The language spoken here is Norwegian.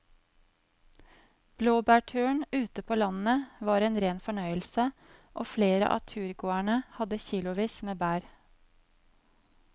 Blåbærturen ute på landet var en rein fornøyelse og flere av turgåerene hadde kilosvis med bær.